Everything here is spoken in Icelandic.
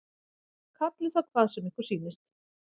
Kallið það hvað sem ykkur sýnist.